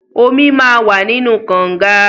Omi máa wà nínú kọǹga.